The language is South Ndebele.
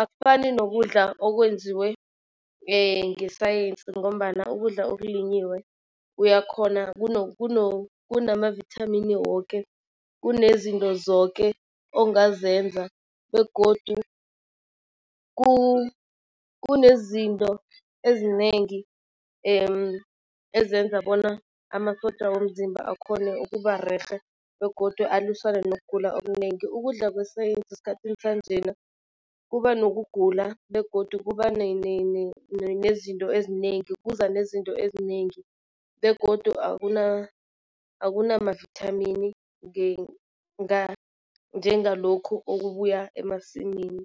akufani nokudla okwenziwe ngesayensi ngombana ukudla okulinyiwe uyakhona kunamavithamini woke. Kunezinto zoke ongazenza begodu kunezinto ezinengi ezenza bona amasotja womzimba akhone ukuba rerhe begodu alwisane nokugula okunengi. Ukudla kwesayensi esikhathini sanjena kuba nokugula begodu kuba nezinto ezinengi kuza nezinto ezinengi begodu akunamavithamini njengalokhu okubuya emasimini.